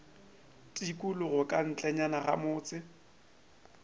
tikologo ka ntlenyana ga motse